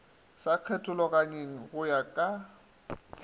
sa kgethologanyweng go ya ka